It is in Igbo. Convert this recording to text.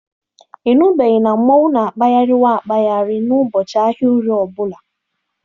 Ị nụbeghị na mmonwu na-akpagharị waa akpagharị n'ụbọchị ahịa Orie ọ bụla?